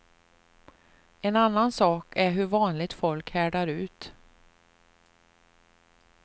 En annan sak är hur vanligt folk härdar ut.